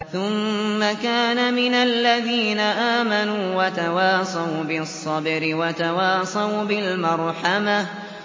ثُمَّ كَانَ مِنَ الَّذِينَ آمَنُوا وَتَوَاصَوْا بِالصَّبْرِ وَتَوَاصَوْا بِالْمَرْحَمَةِ